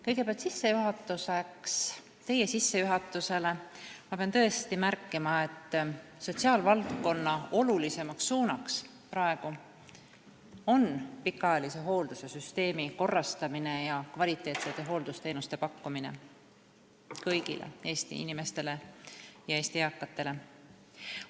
Kõigepealt, teie sissejuhatuse peale ma pean tõesti märkima, et sotsiaalvaldkonna tähtsaim suund on praegu pikaajalise hooldussüsteemi korrastamine ja kvaliteetsete hooldusteenuste pakkumine kõigile Eesti inimestele, ka eakatele.